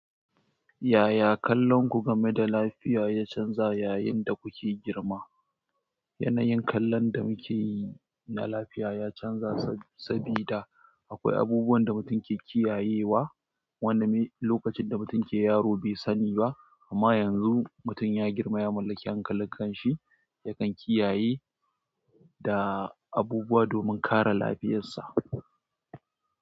Yaya kallon ku game da lafiya ya canza yayin da kuke girma? Yanayin kallon da muke yi na lafiya ya canza sabida akwai abubuwan da mutum ke kiyayewa, wanda ni lokacin da mutum ke yaro bai sani ba. Amma yanzu mutum ya girma ya mallaki hankalinsa, yakan kiyaye da abubuwa domin kare lafiyarsa.